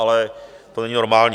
Ale to není normální.